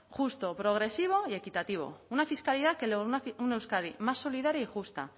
justo progresivo y equitativo una fiscalidad que lograse una euskadi más solidaria y justa